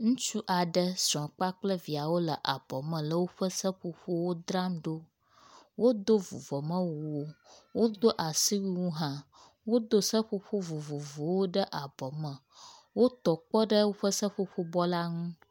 Ŋutsu aɖe srɔ̃ kpakple vi le seƒoƒobɔ me le seƒoƒoƒwo dzram ɖo, wodo vuvɔmewu , wodo asiwu hã, wodo seƒoƒo vovovowo ɖe abɔ me, wotokpɔ ɖe woƒe seƒoƒobɔ la ŋu